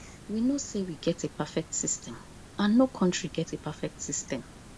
we no say we get a perfect system and no country get a perfect system